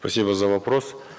спасибо за вопрос